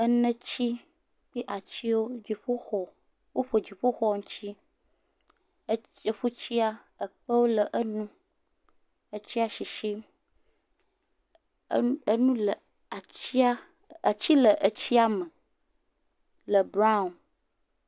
Enetsi kpi atsiwo, dziƒoxɔ, woƒo dziƒoxɔ ŋutsi. E eƒutsia ekpewo le eŋu. Etsia shishim. E enu le atsia, atsi le etsia me le brown.